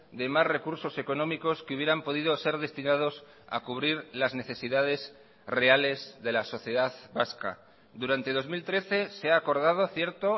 de más recursos económicos que hubieran podido ser destinados a cubrir las necesidades reales de la sociedad vasca durante dos mil trece se ha acordado cierto